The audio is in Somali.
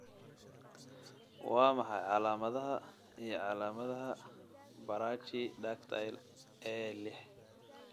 Waa maxay calaamadaha iyo calaamadaha Brachydactyly A liix?